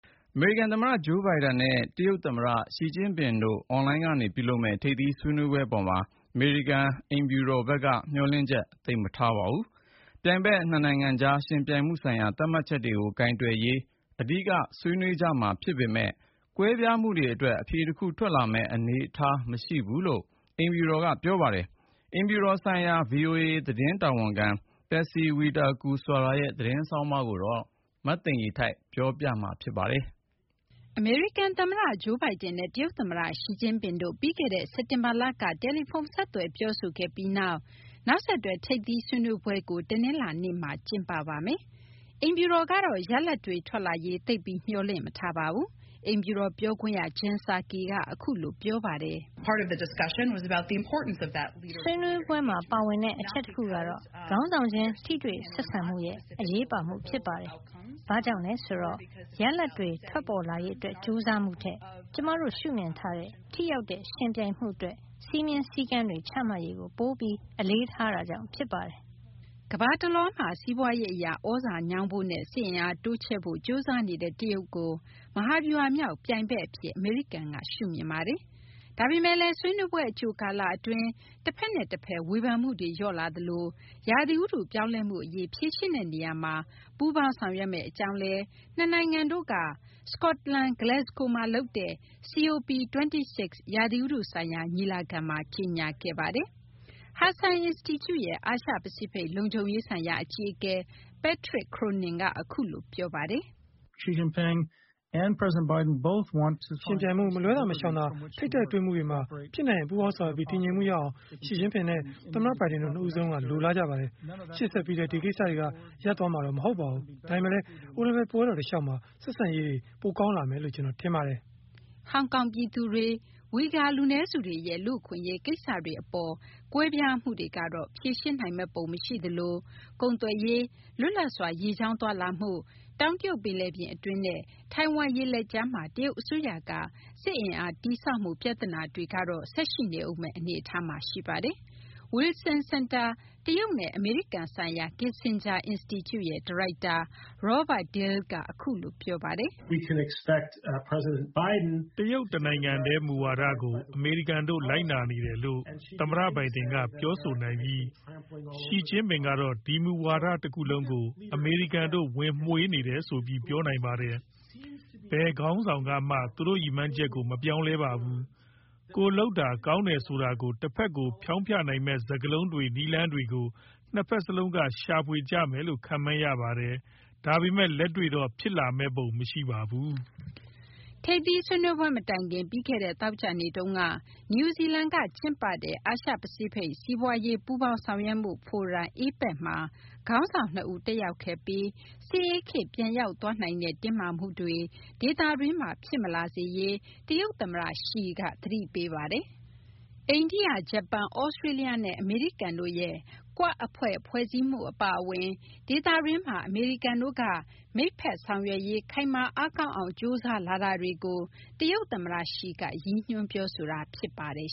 အမေရိကန်သမ္မတ Joe Biden နဲ့ တရုတ်သမ္မတ Xi Jinping တို့ အွန်လိုင်းကနေ ပြုလုပ်မယ့် ထိပ်သီးဆွေးနွေးပွဲ အပေါ်မှာ အမေရိကန် သမ္မတအိမ်ဖြူတော်ဘက်က မျှော်လင့်ချက် သိပ်မထားပါဘူး။ ပြိုင်ဘက် နှစ်နိုင်ငံကြား ယှဉ်ပြိုင်မှုဆိုင်ရာ သတ်မှတ်ချက်တွေကို ကိုင်တွယ်ရေး အဓိက ဆွေးနွေးကြမှာ ဖြစ်ပေမယ့်လည်း ကွဲပြားမှုတွေအတွက် အဖြေတခု ထွက်လာမယ့် အနေအထား မရှိဘူးလို့လည်း အမေရိကန် သမ္မတအိမ်ဖြူတော်က ပြောပါတယ်။ အိမ်ဖြူတော်ဆိုင်ရာ ဗွီအိုအေ သတင်းတာဝန်ခံ Patsy Widakuswara ရဲ့ သတင်းဆောင်းပါးကို မသိင်္ဂီထိုက် ပြောပြပါမယ်။ အမေရိကန်သမ္မတ Joe Biden နဲ့ တရုတ်သမ္မတ Xi Jinping တို့ ပြီးခဲ့တဲ့ စက်တင်ဘာလက တယ်လီဖုန်း ဆက်သွယ်ပြောဆိုခဲ့ပြီးနောက် အခု နောက်ဆက်တွဲ ထိပ်သီးဆွေးနွေးမှုကို တနင်္လာနေ့မှာ ကျင်းပပါမယ်။ အိမ်ဖြူတော်ဘက်ကတော့ ရလဒ်အပေါ် သိပ်ပြီး မျှော်လင့်မထားပါဘူး။ အိမ်ဖြူတော်ပြောခွင့်ရ Jen Psaki က အခုလို ပြောပါတယ်။ “ဆွေးနွေးပွဲမှာ ပါဝင်တဲ့ အချက်တခုကတော့ ခေါင်းဆောင်ချင်း ထိတွေ့ဆက်ဆံမှုရဲ့ အရေးပါမှု ဖြစ်ပါတယ်။ ဘာကြောင့်လဲဆိုတော့ ရလဒ်တွေ ထွက်ပေါ်လာရေးအတွက် ကြိုးစားမှုထက် ကျမတို့ ရှုမြင်ထားတဲ့ ထိရောက်တဲ့ ယှဉ်ပြိုင်မှုအတွက် စည်းမျဉ်း စည်းကမ်းတွေ ချမှတ်ရေးကို ပိုပြီး အလေးထားတာကြောင့် ဖြစ်ပါတယ်။” ကမ္ဘာတလွှားမှာ စီးပွားရေးအရ သြဇာညောင်းဖို့နဲ့ စစ်အင်အားတိုးချဲ့ဖို့ ကြိုးစားနေတဲ့ တရုတ်ကို မဟာဗျူဟာမြောက် ပြိုင်ဘက်အဖြစ် အမေရိကန်က ရှုမြင်ပါတယ်။ ဒါပေမယ့်လည်း ဆွေးနွေးပွဲ အကြိုကာလအတွင်း တဖက်နဲ့တဖက် ဝေဖန်မှုတွေ လျော့လာသလို ရာသီဥတုပြောင်းလဲမှုအရေး ဖြေရှင်းတဲ့နေရာမှာ ပူးပေါင်းဆောင်ရွက်မယ့်အကြောင်း နှစ်နိုင်ငံတို့က စကော့တလန် Glasgow မှာလုပ်တဲ့ COP26 ရာသီဥတုဆိုင်ရာ ညီလာခံမှာ ကြေညာခဲ့ပါတယ်။ Hudson အင်စတီကျုရဲ့ အာရှ-ပစိဖိတ် လုံခြုံရေးဆိုင်ရာ အကြီးအကဲ Patrick Cronin က အခုလို ပြောပါတယ်။ “ယှဉ်ပြိုင်မှု၊ မလွှဲသာ မရှောင်သာ ထိပ်တိုက်တွေ့မှုတွေမှာ ဖြစ်နိုင်ရင် ပူးပေါင်းဆောင်ရွက်ပြီး တည်ငြိမ်မှုရအောင် Xi Jinping နဲ့ သမ္မတ Biden နှစ်ဦးစလုံးက လိုလားကြပါတယ်။ ရှေ့ဆက်ပြီးလည်း ဒီကိစ္စတွေက ရပ်တန့်သွားမှာ မဟုတ်ပါဘူး။ ဒါပေမယ့်လည်း အိုလံပစ်ပွဲတော် တလျှောက်မှာ ဆက်ဆံရေး ပိုကောင်းလာမယ်လို့ ကျနော်ထင်ပါတယ်။” ဟောင်ကောင်ပြည်သူတွေနဲ့ ဝီဂါ လူနည်းစုတွေရဲ့ လူ့အခွင့်အရေး ကိစ္စတွေအပေါ် ကွဲပြားမှုတွေကတော့ ဖြေရှင်းနိုင်မယ့်ပုံ မရှိသလို ကုန်သွယ်ရေး၊ လွတ်လပ်စွာ ရေကြောင်းသွားလာမှု၊ တောင်တရုတ်ပင်လယ်ပြင် အတွင်းနဲ့ ထိုင်ဝမ်ရေလက်ကြားမှာ တရုတ်အစိုးရက စစ်အင်အားတည်ဆောက်မှု ပြဿနာတွေကတော့ ဆက်ရှိနေဦးမယ့် အနေအထားမှာ ရှိပါတယ်။ Wilson စင်တာ တရုတ်နဲ့ အမေရိကန်ဆိုင်ရာ Kissinger အင်စတီကျု ဒါရိုက်တာ Robert Daly က အခုလို ပြောပါတယ်။ “တရုတ်တနိုင်ငံတည်း မူဝါဒကို အမေရိကန်တို့ လိုက်နာနေတယ်လို့ သမ္မတ Biden က ပြောဆိုနိုင်ပြီး Xi Jinping ကတော့ ဒီမူဝါဒ တခုလုံးကို အမေရိကန်တို့ ဝင်မွှေနေတယ်ဆိုပြီး ပြောနိုင်ပါတယ်။ ဘယ်ခေါင်းဆောင်ကမှ သူတို့ရည်မှန်းချက်ကို မပြောင်းလဲပါဘူး။ ကိုယ်လုပ်တာ ကောင်းတယ်ဆိုတာကို တဖက်ကို ဖျောင်းဖျနိုင်မယ့် စကားလုံးတွေ၊ နည်းလမ်းတွေကို နှစ်ဖက်စလုံးက ရှာဖွေကြမယ်လို့ ခန့်မှန်းရပါတယ်။ ဒါပေမယ့် လက်တွေ့တော့ ဖြစ်လာမယ့်ပုံ မရှိပါဘူး။” ထိပ်သီးဆွေးနွေးပွဲ မတိုင်ခင် ပြီးခဲ့တဲ့ သောကြာနေ့တုန်းက နယူးဇီလန်က ကျင်းပတဲ့ အာရှ-ပစိဖိတ် စီးပွားရေး ပူးပေါင်းဆောင်ရွက်မှုဖိုရမ် APEC မှာ ခေါင်းဆောင်နှစ်ဦး တက်ရောက်ခဲ့ပြီး စစ်အေးခေတ် ပြန်ရောက်သွားနိုင်တဲ့ တင်းမာမှုတွေ ဒေသတွင်းမှာ ဖြစ်မလာစေရေး တရုတ်သမ္မတ Xi က သတိပေးပါတယ်။ အိန္ဒိယ၊ ဂျပန်၊ သြစတြေးလျနဲ့ အမေရိကန်တို့ရဲ့ Quad အဖွဲ့ ဖွဲ့စည်းမှု အပါအဝင် ဒေသတွင်းမှာ အမေရိကန်တို့က မိတ်ဘက်ဆောင်ရွက်ရေး ခိုင်မာ အားကောင်းအောင် ကြိုးစားလာတာတွေကို တရုတ်သမ္မတ Xi က ရည်ညွှန်း ပြောဆိုခဲ့တာ ဖြစ်ပါတယ်